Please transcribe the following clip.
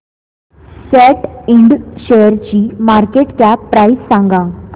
सॅट इंड शेअरची market cap price सांगा